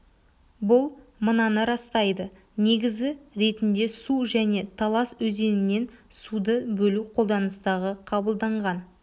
бұл мынаны растайды негізі ретінде шу және талас өзенінен суды бөлу қолданыстағы қабылданған